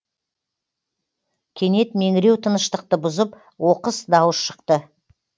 кенет меңіреу тыныштықты бұзып оқыс дауыс шықты